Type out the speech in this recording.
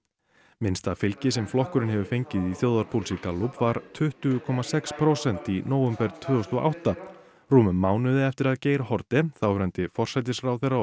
minnsta fylgi sem flokkurinn hefur fengið í þjóðarpúlsi Gallup var tuttugu komma sex prósent í nóvember tvö þúsund og átta rúmum mánuði eftir að Geir Haarde þáverandi forsætisráðherra og